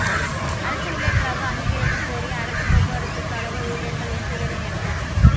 அரசு ஊழியா்களாக அங்கீகரிக்கக் கோரி அரசு போக்குவரத்துக் கழக ஊழியா்கள் இன்று வேலைநிறுத்தம்